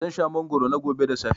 Zan sha mangwaro na gobe da safe.